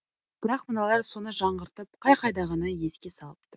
бірақ мыналар соны жаңғыртып қай қайдағыны еске салып тұр